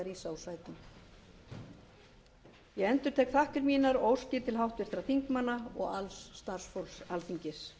þau orð með því að rísa úr sætum ég endurtek þakkir mínar og óskir til háttvirtra þingmanna og alls starfsfólks alþingis